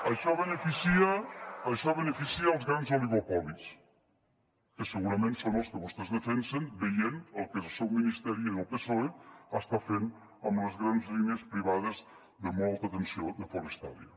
això beneficia els grans oligopolis que segurament són els que vostès defensen veient el que el seu ministeri del psoe està fent amb les grans línies privades de molt alta tensió de forestalia